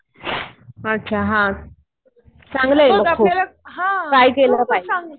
अच्छा. हा. चांगलं आहे मग खूप. ट्राय केलं पाहिजे.